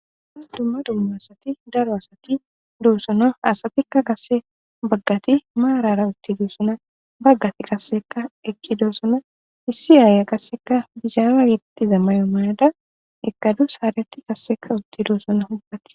dumma dumma asati daro asati doossona asatikka kasse baggati maarara utti dussona baggati qasseka ekki doossona issi yaaya qasseka bishaala yidittiza may7o maada ekadu haareti qasseka utti duossona hubbati